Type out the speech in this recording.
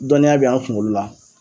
Dɔnniya bɛ an kuŋolo la